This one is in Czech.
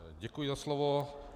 Děkuji za slovo.